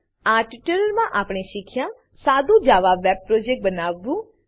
આ ટ્યુટોરીયલમાં આપણે શીખ્યા સાદુ Java web Java web project બનાવવું